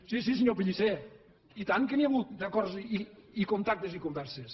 sí sí senyor pellicer i tant que n’hi ha hagut d’acords i contactes i converses